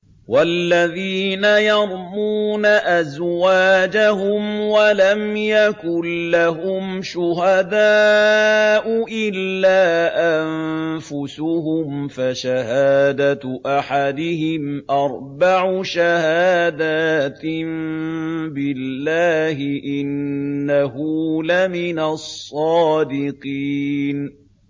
وَالَّذِينَ يَرْمُونَ أَزْوَاجَهُمْ وَلَمْ يَكُن لَّهُمْ شُهَدَاءُ إِلَّا أَنفُسُهُمْ فَشَهَادَةُ أَحَدِهِمْ أَرْبَعُ شَهَادَاتٍ بِاللَّهِ ۙ إِنَّهُ لَمِنَ الصَّادِقِينَ